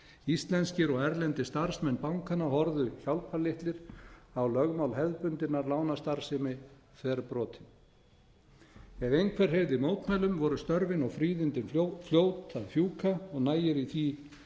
íslenskir og erlendir starfsmenn bankanna horfðu hjálparlitlir á lögmál hefðbundinnar lánastarfsemi þverbrotin ef einhver hreyfði mótmælum voru störfin og fríðindin fljót að fjúka og nægir í því